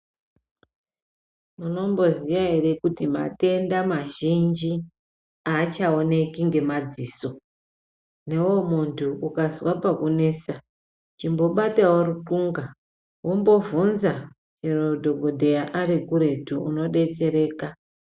Munomboziya ere kuti matenda mazhinji aachaoneki ngemadziso newewo muntu ukazwe pakunesa imbobatawo ruxunga wombobvunze chero dhokodheya ari kuretu unodetsereka.